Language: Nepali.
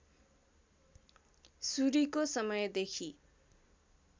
सूरीको समयदेखि